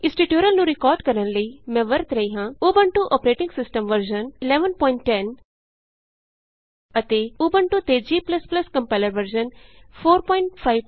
ਇਸ ਟਯੂਟੋਰਿਅਲ ਨੂੰ ਰਿਕਾਰਡ ਕਰਨ ਲਈ ਮੈਂ ਵਰਤ ਰਹੀ ਹਾਂ ਉਬੰਟੂ ਅੋਪਰੇਟਿੰਗ ਸਿਸਟਮ ਵਰਜ਼ਨ 1110 ਅਤੇ ਉਬੰਟੂ ਤੇ G ਕੰਪਾਇਲਰ ਵਰਜ਼ਨ 452